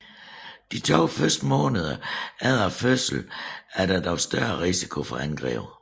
De to første måneder efter fødslen er der dog større risiko for angreb